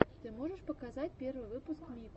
ты можешь показать первый выпуск мику